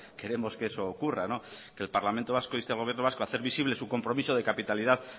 queremos que eso ocurra que el parlamento vasco inste al gobierno vasco a hacer visible su compromiso de capitalidad